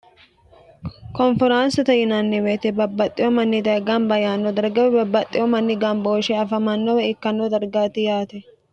konferaansata yinanniweete babbaxxewo manni daye gamba yaanno darga woy babbaxxewo manni gambohoshe afamannowe ikkanno dargaati yaate